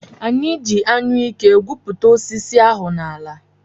Anyị ji Anyụike gwupụta osisi ahụ n’ala